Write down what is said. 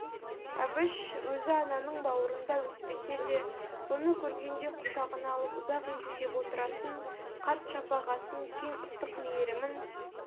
әбіш өзі ананың бауырында өспесе де бұны көргенде құшағына алып ұзақ иіскеп отыратын қарт шапағатын кең ыстық мейірімін